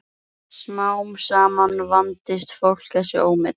Smám saman vandist fólk þessu ómeti.